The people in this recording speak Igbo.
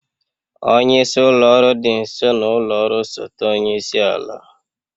Onye isi ụlọ ọrụ dị nso n'ụlọ ọrụ osote onye isi ala.